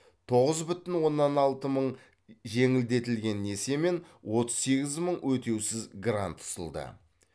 тоғыз бүтін оннан алты мың жеңілдетілген несие мен отыз сегіз мың өтеусіз грант ұсынылды